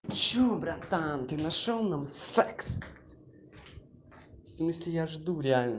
что братан ты нашёл нам секс в смысле я жду реально